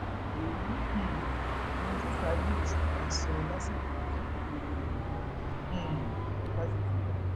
èyí um lohun tí ṣádì ọṣùpá sọ lásìkò ìkẹkọọgboyè rẹ ní um fásitì ìbàdàn